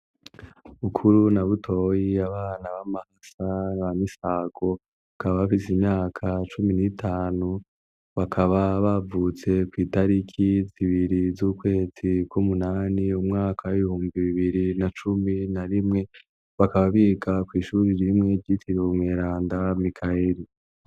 Bukuru na Butoyi, abana b'amahasa ba Misago, bakaba bafise imyaka cumi n'itanu, bakaba bavutse kw'itariki zibiri z'ukwezi kw'umunani, umwaka w'ibihumbi bibiri na cumi na rimwe, bakaba biga kw'ishuri rimwe ryitiriwe Umweranda Mikayeri.